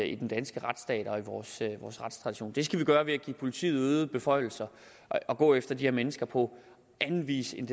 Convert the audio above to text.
i den danske retsstat og i vores retstradition det skal vi gøre ved at give politiet øgede beføjelser og gå efter de her mennesker på en anden vis end